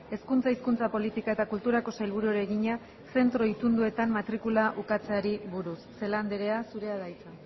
hezkuntza hizkuntza politika eta kulturako sailburuari egina zentro itunduetan matrikula ukatzeari buruz celaá andrea zurea da hitza